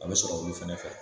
A be sɔrɔ olu fɛnɛ fɛ